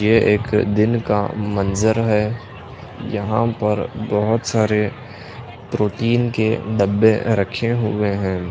ये एक दिन का मंजर है यहां पर बहुत सारे प्रोटीन के डब्बे रखे हुए हैं।